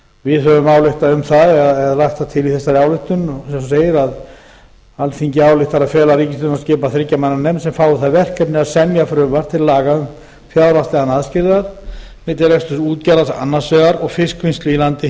við höfum lagt það til í þessari ályktun að eins og segir alþingi ályktar að fela ríkisstjórninni að skipa þriggja manna nefnd sem fái það verkefni að semja frumvarp til laga um fjárhagslegan aðskilnað milli reksturs útgerðar annars vegar og fiskvinnslu í landi